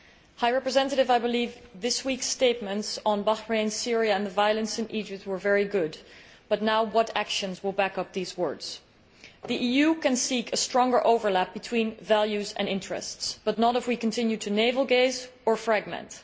High Representative, I believe that this week's statements on Bahrain, Syria and the violence in Egypt were very good, but what actions will now back up those words? The EU can seek stronger overlap between values and interests, but not if it continues to navel gaze or fragment.